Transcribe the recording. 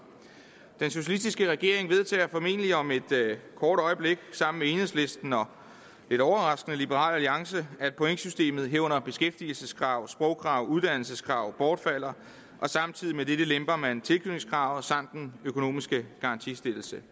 den socialistiske regering vedtager formentlig om et kort øjeblik sammen med enhedslisten og lidt overraskende liberal alliance at pointsystemet herunder beskæftigelseskrav sprogkrav og uddannelseskrav bortfalder og samtidig med dette lemper man tilknytningskravet samt den økonomiske garantistillelse